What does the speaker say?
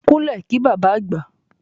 Kúnlẹ̀ kí bàbá àgbà!